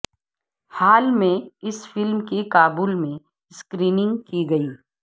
حال میں اس فلم کی کابل میں سکریننگ کی گئی